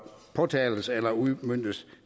påtales eller udmøntes